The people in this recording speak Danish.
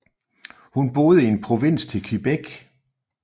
Hun boede i en provins til Quebec